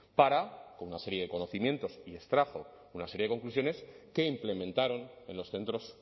para con una serie de conocimiento y extrajo una serie de conclusiones que implementaron en los centros